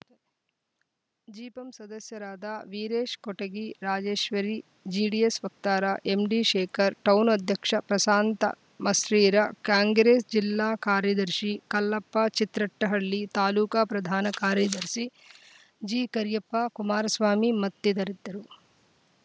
ಜಿಪಂ ಸದಸ್ಯರಾದ ವೀರೇಶ್‌ ಕೊಟಗಿ ರಾಜೇಶ್ವರಿ ಜಿ ಡಿಎಸ್‌ ವಕ್ತಾರ ಎಂಡಿಶೇಖರ್‌ ಟೌನ್‌ ಅಧ್ಯಕ್ಷ ಪ್ರಶಾಂತ್‌ ಮಸ್ಟ್ ರೀರ ಕಾಂಗ್ರೇಸ್‌ ಜಿಲ್ಲಾ ಕಾರ್ಯದರ್ಶಿ ಕಲ್ಲಪ್ಪ ಚಿತ್ರಟ್ಟಹಳ್ಳಿ ತಾಲೂಕ ಪ್ರಧಾನ ಕಾರ್ಯದರ್ಶಿ ಜಿಕೆರಿಯಪ್ಪ ಕುಮಾರಸ್ವಾಮಿ ಮತ್ತಿತದ ರಿದ್ದರು